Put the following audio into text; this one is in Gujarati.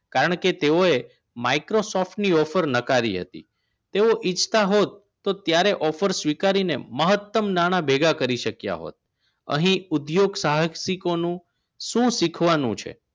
કારણ કે તેઓએ microsoft ની offer નકારી હતી તેઓ ઇચ્છતા હોત ત્યારે offer સ્વીકારીને મહત્તમ નાણા ભેગા કરી શક્યા હોત અહીં ઉદ્યોગ સાહસિકોનો શું શીખવાનું છે